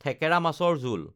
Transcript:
থেকেৰা মাছৰ জোল